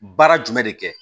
Baara jumɛn de kɛ